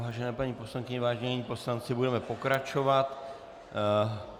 Vážené paní poslankyně, vážení poslanci, budeme pokračovat.